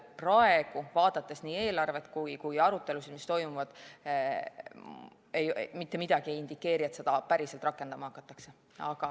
Praegu, vaadates nii eelarvet kui ka arutelusid, mis toimuvad, mitte midagi ei inditseeri, et seda päriselt rakendama hakatakse.